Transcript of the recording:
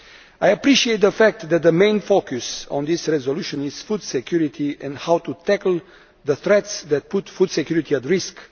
I appreciate the fact that the main focus of this resolution is food security and how to tackle the threats that put food security at risk.